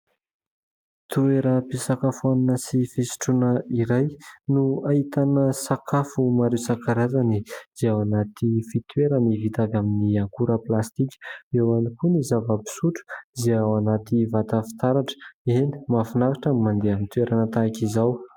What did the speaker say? Toeram-pisakafoanana sy fisotroana iray no ahitana sakafo maro isan-karazany dia ao anaty fitoerany vita avy amin'ny akora plastika. Eo ihany koa ny zava-pisotro izay ao anaty vata fitaratra. Eny mahafinaritra ny mandeha amin'ny toerana tahaka izao.